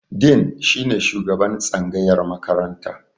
Dean shine shugaban tsangayar makaranta.